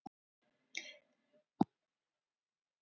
Eftir fimm tíma var grísinn allur brunninn, jafnvel beinin.